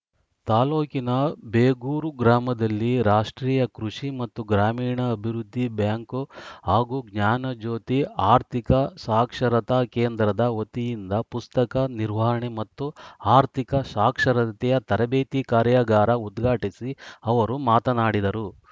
ತಾಲೂಕಿನ ಬೇಗೂರು ಗ್ರಾಮದಲ್ಲಿ ರಾಷ್ಟ್ರೀಯ ಕೃಷಿ ಮತ್ತು ಗ್ರಾಮೀಣಾಭಿವೃದ್ಧಿ ಬ್ಯಾಂಕ್‌ ಹಾಗೂ ಜ್ಞಾನಜ್ಯೋತಿ ಆರ್ಥಿಕ ಸಾಕ್ಷರತಾ ಕೇಂದ್ರದ ವತಿಯಿಂದ ಪುಸ್ತಕ ನಿರ್ವಹಣೆ ಮತ್ತು ಆರ್ಥಿಕ ಸಾಕ್ಷರತೆಯ ತರಬೇತಿ ಕಾರ್ಯಾಗಾರ ಉದ್ಘಾಟಿಸಿ ಅವರು ಮಾತನಾಡಿದರು